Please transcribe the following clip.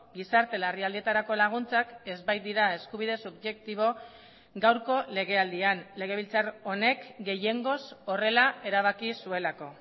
gizarte larrialdietarako laguntzak ez baitira eskubide subjektibo gaurko legealdian legebiltzar honek gehiengoz horrela erabaki zuelako